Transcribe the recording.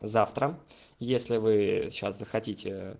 завтра если вы сейчас хотите